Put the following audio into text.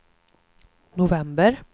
november